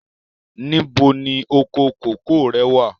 Níbo ni oko kòkó rẹ̀ wà?